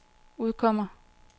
udkommer